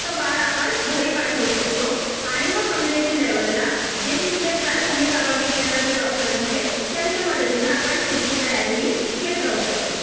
तर बाळ आपण घरी पाठवू शकतो आणि मग कम्युनिटी लेवलला जे तिथले प्राथमिक आरोग्य केंद्रातले डॉक्टर्स आहेत त्यांच्या मदतीने ही आपण पुढची तयारी ही घेत राहू शकतो